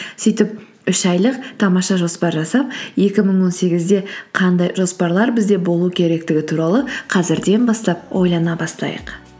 сөйтіп үш айлық тамаша жоспар жасап екі мың он сегізде қандай жоспарлар бізде болу керектігі туралы қазірден бастап ойлана бастайық